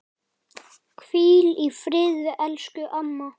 Hvíl í friði elsku amma.